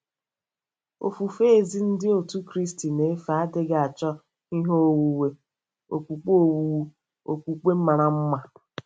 Ofufe ezi Ndị Otú Kristi na-efe adịghị achọ ihe owuwu okpukpe owuwu okpukpe mara mma.